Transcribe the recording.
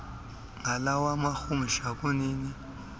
ngalawa marhumsha kunini